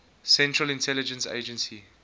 central intelligence agency